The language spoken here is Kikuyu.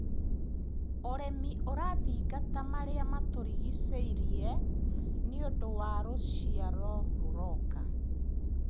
ũrĩmi ũrathingata marĩa matũrigicĩirie nĩũndu wa rũciaro rũroka.